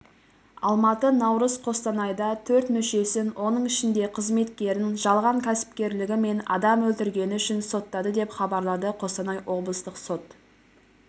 алматы наурыз қостанайда төрт мүшесін оның ішінде қызметкерін жалған кәсіпкерлігі мен адам өлтіргені үшін соттады деп хабарлады қостанай облыстық сот